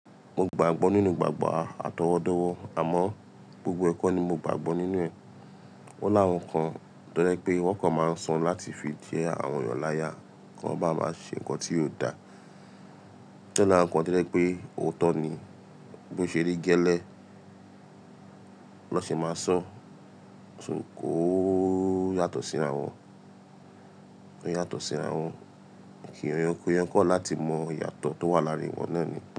Mo gbàgbọ́ nínú ìgbàgbọ́ àtọwọ́dọ́wọ́ àmọ́ gbogbo ẹ̀kọ́ ni mo gbàgbọ́ nínú rẹ̀. Ó lára nǹkan tó jẹ pé wọ́n kan máa ń sọ láti fi jẹ́ àwọn èyàn láya kí wọ́n bá máa ṣe nǹkan tí yóò dà. O dé lára nǹkan tó jẹ pé òótọ́ ni bí ó ṣe rí gẹ́lẹ́ lọ́ ṣe máa sọ̀, ṣù kò yàtọ̀ síra wọn. Ò yàtọ̀ síra wọn. Kí o ye yẹn kọ̀ wa láti mọ ìyàtọ̀ tó wà láàárín wọn náà ni.